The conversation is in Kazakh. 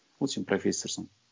вот сен проффесорсың